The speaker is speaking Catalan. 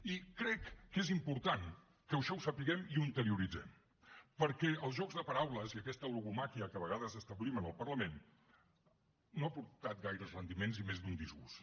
i crec que és important que això ho sapiguem i ho interioritzem perquè els jocs de paraules i aquesta logomàquia que a vegades establim en el parlament no ha aportat gaires rendiments i més d’un disgust